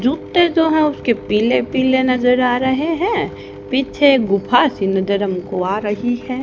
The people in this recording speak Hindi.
जूत्ते जो हैं उसके पीले पीले नजर आ रहे हैं पीछे गुफा सी नजर हमको आ रही है।